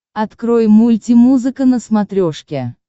открой мульти музыка на смотрешке